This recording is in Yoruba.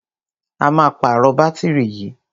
A máa pàrọ̀ bátìrì yìí.